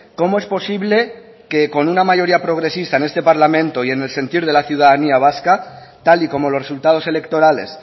cómo es posible que con una mayoría progresista en este parlamento y en el sentir de la ciudadanía vasca tal y como los resultados electorales